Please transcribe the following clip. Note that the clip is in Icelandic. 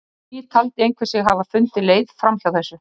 Enn á ný taldi einhver sig hafa fundið leið fram hjá þessu.